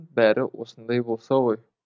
бәрі осындай болса ғой